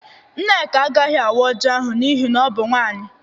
Nneka agaghị awaa Ọji ahụ n'ihi na ọ bụ nwaanyị.